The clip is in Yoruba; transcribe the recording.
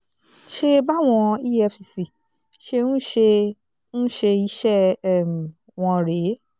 ṣe báwọn efcc ṣe ń ṣe ń ṣe iṣẹ́ um wọn rèé